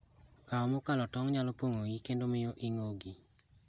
Kao mokalo tong' nyalo pong'o iyi kendo miyo ing'ogi.